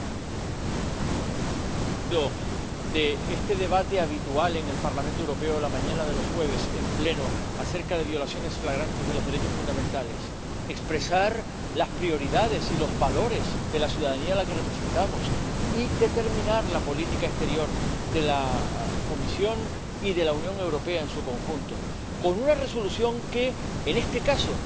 Señor presidente, ¿cuál es el sentido de este debate habitual en el Parlamento Europeo, la mañana de los jueves, en el Pleno, acerca de violaciones flagrantes de los derechos fundamentales? Expresar las prioridades y los valores de la ciudadanía a la que representamos y determinar la política exterior de la Comisión y de la Unión Europea en su conjunto, con una Resolución que, en este caso